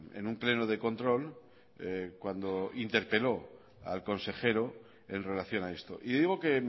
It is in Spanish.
en un pleno de control cuando interpeló al consejero en relación a esto y digo que